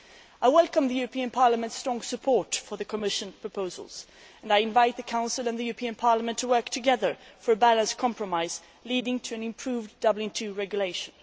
I welcome the European Parliament's strong support for the Commission proposals and I invite the Council and the European Parliament to work together for a balanced compromise leading to an improved Dublin 2 regulation.